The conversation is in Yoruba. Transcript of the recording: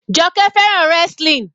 Joke fẹ́ràn wrestling.